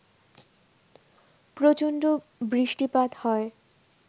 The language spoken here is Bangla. প্রচণ্ড বৃষ্টিপাত হয়